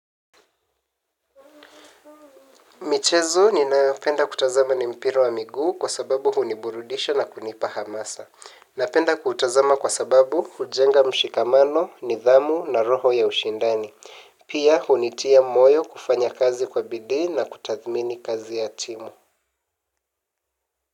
Michezo ninaopenda kutazama ni mpira wa miguu kwa sababu huniburudisha na kunipa hamasa. Napenda kutazama kwa sababu hujenga mshikamano, nidhamu na roho ya ushindani. Pia hunitia moyo kufanya kazi kwa bidii na kutathmini kazi ya timu.